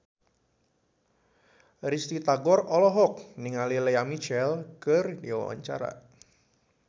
Risty Tagor olohok ningali Lea Michele keur diwawancara